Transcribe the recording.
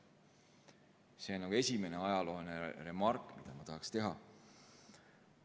See on esimene ajalooline remark, mida ma tahtsin teha.